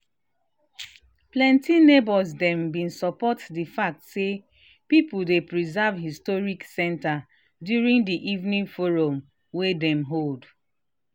plenty neighbors them been support the fact say people dey preserve historic center during the evening forum wa dem hold